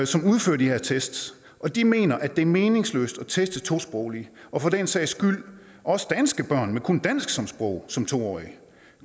som udfører de her tests de mener at det er meningsløst at teste tosprogede og for den sags skyld også danske børn med kun dansk som sprog som to årige